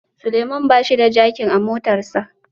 Suleman bashi da jakin a motarsa